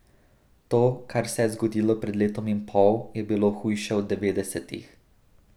To, kar se je zgodilo pred letom in pol, je bilo hujše od devetdesetih.